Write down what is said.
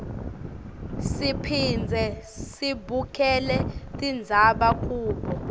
siphindze sibukele tindzaba kubo